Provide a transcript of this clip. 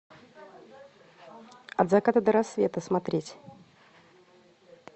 от заката до рассвета смотреть